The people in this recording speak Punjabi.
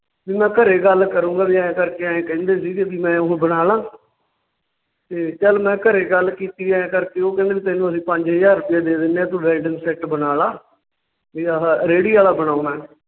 ਵੀ ਮੈਂ ਘਰੇ ਗੱਲ ਕਰੂੰਗਾਂ ਵੀ ਐਂ ਕਰਕੇ ਐਂ ਕਹਿੰਦੇ ਸੀ ਮੈਂ ਉਹ ਬਣਾਲਾ ਤੇ ਚੱਲ ਮੈਂ ਘਰੇ ਗੱਲ ਕੀਤੀ ਆਂਏ ਕਰਕੇ ਉਹ ਕਹਿੰਦੇ ਵੀ ਤੈਨੂੰ ਅਸੀਂ ਪੰਜ ਹਜਾਰ ਰੁਪਈਆ ਦੇ ਦਿਨੇ ਆ ਤੂੰ ਵੈਲਡਿੰਗ set ਬਣਾਲਾ ਵੀ ਆਹਾ ਰੇੜੀ ਆਲਾ ਬਣਾਉਣਾ ਹੈ।